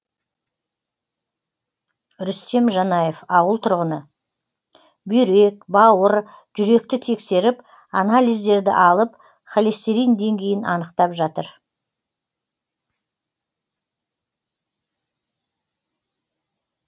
рүстем жанаев ауыл тұрғыны бүйрек бауыр жүректі тексеріп анализдерді алып холестерин деңгейін анықтап жатыр